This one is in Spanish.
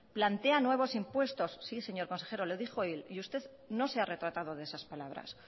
plantea nuevos impuestos sí señor consejero lo dijo él y usted no se ha retratado de esas palabras